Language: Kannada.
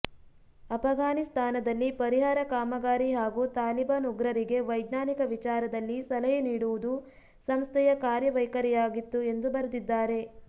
ಅಪಘಾನಿಸ್ತಾನದಲ್ಲಿ ಪರಿಹಾರ ಕಾಮಗಾರಿ ಹಾಗೂ ತಾಲಿಬಾನ್ ಉಗ್ರರಿಗೆ ವೈಜ್ಞಾನಿಕ ವಿಚಾರದಲ್ಲಿ ಸಲಹೆ ನೀಡುವುದು ಸಂಸ್ಥೆಯ ಕಾರ್ಯವೈಖರಿಯಾಗಿತ್ತು ಎಂದು ಬರೆದಿದ್ದಾರೆ